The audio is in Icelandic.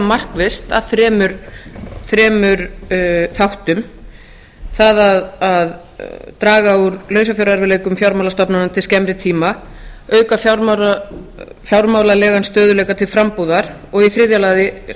markvisst að þremur þáttum það að draga úr lausafjárerfiðleikum fjármálastofnana til skemmri tíma auka fjármálalegan stöðugleika til frambúðar og í þriðja lagi